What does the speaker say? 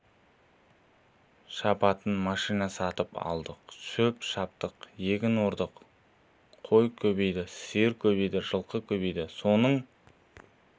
шабатын машина сатып алдық шөп шаптық егін ордық қой көбейді сиыр көбейді жылқы көбейді соның